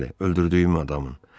Bəli, öldürdüyüm adamın.